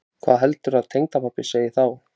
Hvað heldurðu að tengdapabbi segði þá?